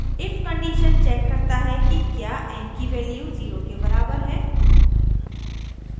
if condition checks करता है कि क्या n की value 0 के बराबर है